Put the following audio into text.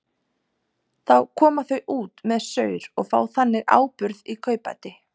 Þá koma þau út með saur og fá þannig áburð í kaupbæti.